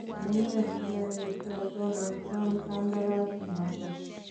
Amunee sikayesha Donald Trump kandaras inoton?